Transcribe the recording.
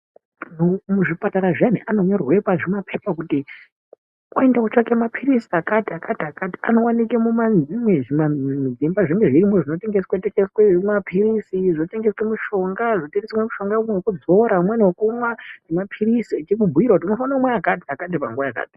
Anhu muzvipatara zviyani anonyorerwe muzvipepa uende utsvake mapilizi akati anowanikwa muzvimba zvimwe zvinotengeswa mapilizi zvinotengeswa mishonga zvinotengeswa mishonga imweni wokuzora umweni wokumwa ngemapirizi achimubhuira kuti mofanira kumwa akati panguwa yakati.